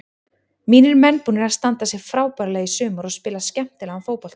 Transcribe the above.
Mínir menn búnir að standa sig frábærlega í sumar og spila skemmtilegan fótbolta.